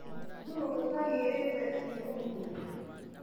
Nũu ũtagĩrĩte iria ũmũthĩ.